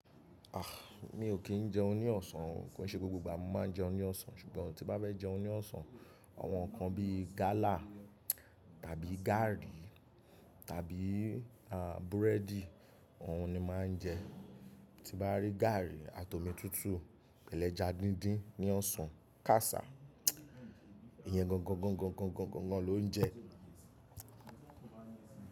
Ah! Mi ò kí ń jẹun ní ọ̀sán, kò ṣe gbogbo ìgbà mo máa ń jẹun ní ọ̀sán. Ṣùgbọ́n tí bá fẹ́ jẹun ní ọ̀sán, àwọn nǹkan bíi gálà, tàbí gààrí, tàbí àn búrẹ́dì, ohun ni máa ń jẹ. Tí bá rí gààrí àti omi tútù pẹ̀lẹ́ ja díndín ní ọ̀sán, kàsá, iyan gangan lo ń jẹ.